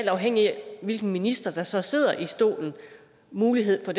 afhængigt af hvilken minister der så sidder i stolen mulighed for